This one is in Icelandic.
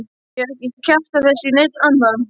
Ég hef ekki kjaftað þessu í neinn annan